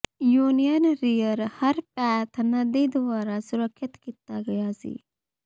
union rear Harpeth ਨਦੀ ਦੁਆਰਾ ਸੁਰੱਖਿਅਤ ਕੀਤਾ ਗਿਆ ਸੀ